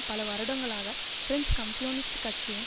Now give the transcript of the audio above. பல வருடங்களாக French communist கட்சியின்